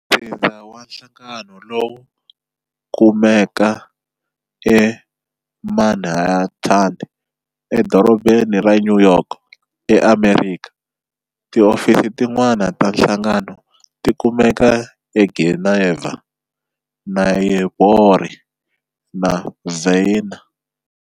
Ntsindza wa nhlangano lowu kumeka eManhattan,e dorobheni ra New York, e Amerikha. Tiofisi tin'wana ta nhlangano ti kumeka eGeneva, Nairobi, na Vienna.